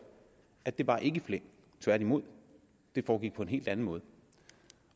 at det ikke var i flæng tværtimod det foregik på en helt anden måde